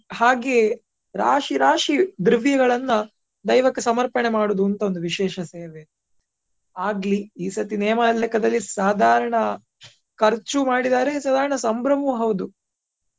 ಹಾಗೆ ರಾಶಿ ರಾಶಿ ದ್ರವ್ಯಗಳನ್ನ ದೈವಕ್ಕೆ ಸಮರ್ಪಣೆ ಮಾಡುದುಂತ ಒಂದು ವಿಶೇಷ ಸೇವೆ. ಆಗ್ಲಿ ಈ ಸರ್ತಿ ನೇಮ ದ ಲೆಕ್ಕದಲ್ಲಿ ಸಾಧಾರಣ ಖರ್ಚಿಯು ಮಾಡಿದ್ದಾರೆ ಸಾಧಾರಣ ಸಂಭ್ರಮವು ಹೌದು.